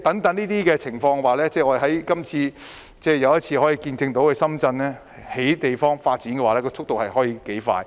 在這些情況下，又一次見證深圳的樓宇發展速度可以有多快。